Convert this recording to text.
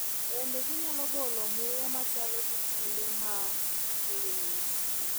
Bende, ginyalo golo muya machalo gi tiende ma nigi ng’ich.